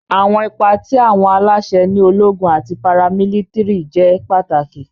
Awọn ipa ti awọn alaṣẹ ni ologun ati paramilitiri jẹ pataki.